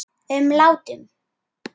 um látum.